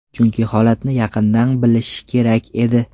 Chunki holatni yaqindan bilish kerak edi.